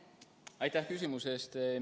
Aitäh küsimuse eest!